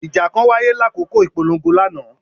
Ija kan waye lakoko ipolongo lana.